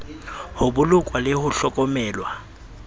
ho bolokwa le ho hlokomelwa